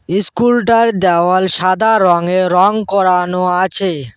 School টার দেওয়াল সাদা রঙে রঙ করানো আছে।